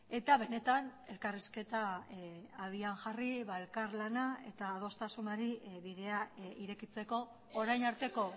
eta benetan elkarrizketa habian jarri elkarlana eta adostasunari bidea irekitzeko orain arteko